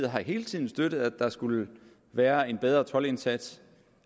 har hele tiden støttet at der skulle være en bedre toldindsats